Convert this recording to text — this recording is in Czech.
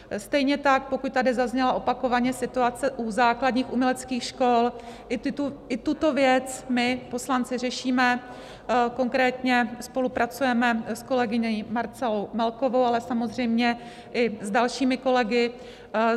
Stejně tak pokud tady zaznělo opakovaně, situace u základních uměleckých škol, i tuto věc my poslanci řešíme, konkrétně spolupracujeme s kolegyní Marcelou Melkovou, ale samozřejmě i s dalšími kolegy.